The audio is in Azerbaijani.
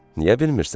Niyə bilmirsən?